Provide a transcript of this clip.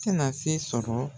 tɛna se sɔrɔ.